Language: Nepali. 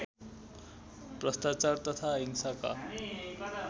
भ्रष्टाचार तथा हिंसाका